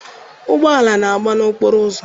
Ụgbọala na-agba n'okporo ụzọ.